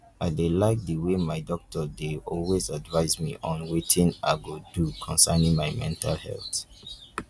i dey like the way my doctor dey always advice me on wetin i go do concerning my mental health